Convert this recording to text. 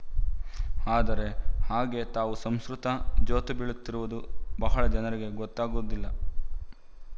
ಆದರೆ ಹಾಗೆ ತಾವು ಸಂಸ್ಕೃತ ಜೋತುಬೀಳುತ್ತಿರುವುದು ಬಹಳ ಜನರಿಗೆ ಗೊತ್ತಾಗುವುದಿಲ್ಲ